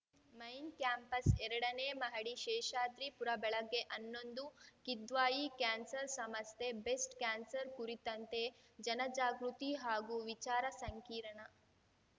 main campus ಎರಡನೇ ಮಹಡಿ ಶೇಷಾದ್ರಿಪುರ ಬೆಳಗ್ಗೆ ಹನ್ನೊಂದು ಕಿದ್ವಾಯಿ ಕ್ಯಾನ್ಸರ್‌ ಸಮಸ್ಥೆ ಬೆಸ್ಟ್‌ ಕ್ಯಾನ್ಸರ್‌ ಕುರಿತಂತೆ ಜನಜಾಗೃತಿ ಹಾಗೂ ವಿಚಾರ ಸಂಕಿರಣ